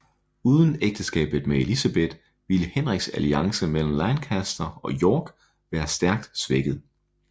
Uden ægteskabet med Elizabeth ville Henriks alliance mellem Lancaster og York være stærkt svækket